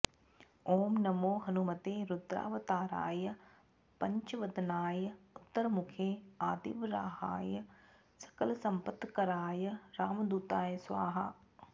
ॐ नमो हनुमते रुद्रावताराय पञ्चवदनाय उत्तरमुखे आदिवराहाय सकलसम्पत्कराय रामदूताय स्वाहा